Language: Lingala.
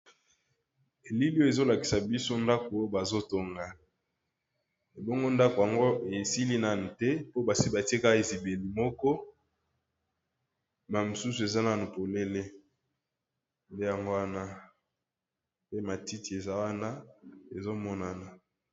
Elili oyo ezo lakisa biso ndako oyo bazo tonga ,ebongo ndako yango esili nanu te po basi batie kaka ezibeli moko na mususu eza nanu polele nde yango wana pe matiti eza wana ezo monana.